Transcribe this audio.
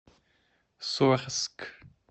сорск